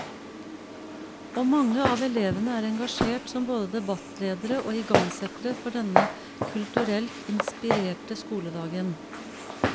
Og mange av elevene er engasjert som både debattledere og igangsettere for denne kulturelt inspirerte skoledagen.